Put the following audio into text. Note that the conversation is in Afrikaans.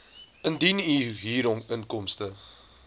indien u huurinkomste